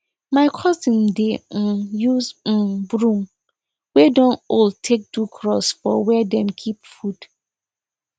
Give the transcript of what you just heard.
my cousin dey um use um broom wey don old take do cross for where them dey keep food